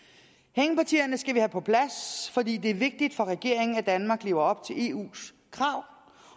hængepartierne skal vi have på plads fordi det er vigtigt for regeringen at danmark lever op til eus krav